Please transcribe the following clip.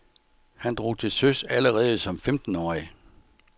Han drog til søs allerede som femtenårig.